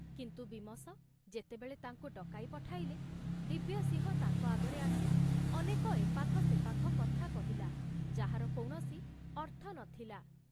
କିନ୍ତୁ ବୀମସ ଯେତେବେଳେ ତାଙ୍କୁ ଡକାଇ ପଠାଇଲେ, ଦିବ୍ୟସିଂହ ତାଙ୍କ ଆଗରେ ଆସି ଅନେକ ଏପାଖ ସେପାଖ କଥା କହିଲା ଯାହାର କୌଣସି ଅର୍ଥ ନ ଥିଲା।